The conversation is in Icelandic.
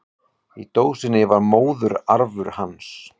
Í dósinni var móðurarfur hans.